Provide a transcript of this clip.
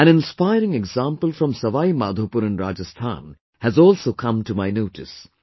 An inspiring example from Sawai Madhopur in Rajasthan has also come to my notice